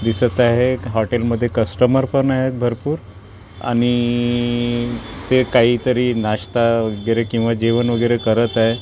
दिसत आहेत हॉटेलमध्ये कस्टमर पण आहेत भरपूर आणि ते काहीतरी नाश्ता वगैरे किंवा जेवण वगैरे करत आहेत.